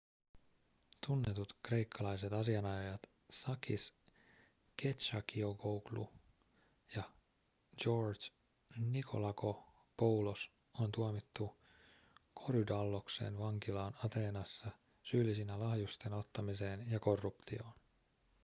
tunnetut kreikkalaiset asianajajat sakis kechagioglou ja george nikolakopoulos on tuomittu korydalloksen vankilaan ateenassa syyllisinä lahjusten ottamiseen ja korruptioon